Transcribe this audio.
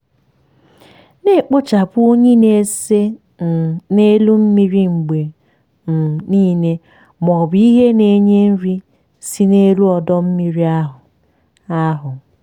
na-ekpochapụ unyi na-ese um n'elu mmiri mgbe um niile ma ọ bụ ihe na-enye nri si n'elu ọdọ mmiri ahụ. ahụ.